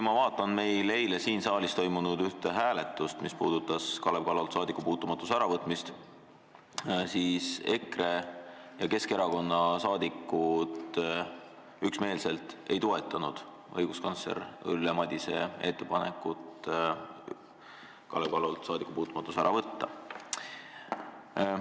Ma meenutan ühte eile siin saalis toimunud hääletust, mis puudutas Kalev Kallolt saadikupuutumatuse äravõtmist, kui EKRE ja Keskerakonna liikmed üksmeelselt ei toetanud õiguskantsler Ülle Madise ettepanekut Kalev Kallolt saadikupuutumatus ära võtta.